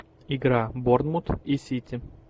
игра борнмут и сити